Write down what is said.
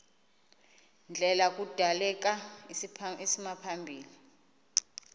ndlela kudaleka isimaphambili